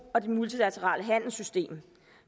og det multilaterale handelssystem